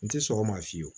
N tɛ sɔn o ma fiyewu